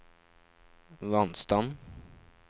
vannstand